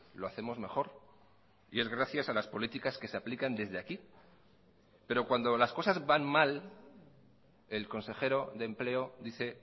lo hacemos mejor y es gracias a las políticas que se aplican desde aquí pero cuando las cosas van mal el consejero de empleo dice